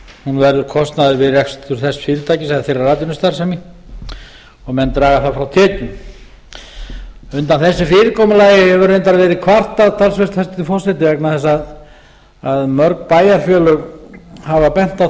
hún verður kostnaður við rekstur þess fyrirtækis eða þeirrar atvinnustarfsemi og menn draga það frá tekjum undan þessu fyrirkomulagi hefur reyndar verið kvartað hæstvirtur forseti vegna þess að mörg bæjarfélög hafa bent á